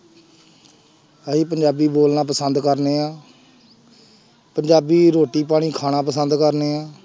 ਅਸੀਂ ਪੰਜਾਬੀ ਬੋਲਣਾ ਪਸੰਦ ਕਰਦੇ ਹਾਂ ਪੰਜਾਬੀ ਰੋਟੀ ਪਾਣੀ ਖਾਣਾ ਪਸੰਦ ਕਰਦੇ ਹਾਂ।